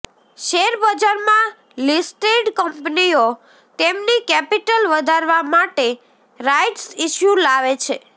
શેરબજારમાં લિસ્ટેડ કંપનીઓ તેમની કેપિટલ વધારવા માટે રાઈટ્સ ઈશ્યૂ લાવે છે